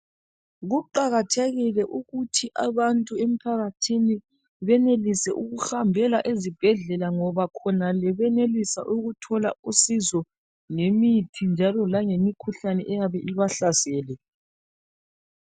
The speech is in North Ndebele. Kuqakathekile ukuthi abantu emphakathini benelise ukuhambela ezibhedlela ngoba khonale benelise ukuthola usizo njalo langemithi khonale eyabe ibahlasele.